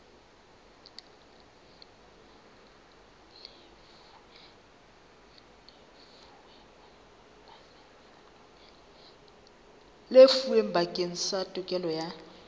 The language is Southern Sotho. lefuweng bakeng sa tokelo ya